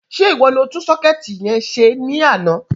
Sé ìwọ ni o tún sọ́kẹ̀tì yẹn se ní àná?